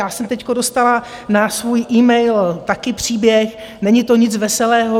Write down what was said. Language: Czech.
Já jsem teď dostala na svůj email také příběh, není to nic veselého.